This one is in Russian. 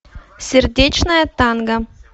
сердечное танго